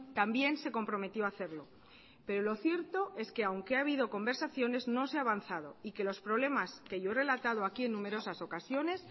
también se comprometió a hacerlo pero lo cierto es que aunque ha habido conversaciones no se ha avanzado y que los problemas que yo he relatado aquí en numerosas ocasiones